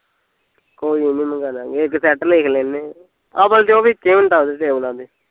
ਕੋਈ ਨੀ ਮਗਾਂਦਾਗੇ ਇੱਕ ਸੇਡ ਤੇ ਲਿਖ ਲੈਂਦੇ, ਅਵਲ ਤੇ ਉਹ ਵਿਚੇ ਹੁੰਦਾ ਉਹਦੇ ਟੇਬਲਾ ਦੇ